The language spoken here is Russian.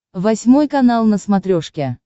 восьмой канал на смотрешке